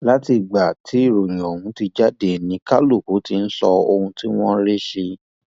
látìgbà tí ìròyìn ọhún ti jáde ni kálukú ti ń sọ ohun tí wọn rí sí i